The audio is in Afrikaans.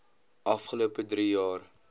afgelope drie jaar